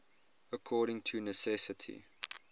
according to necessity